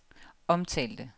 omtalte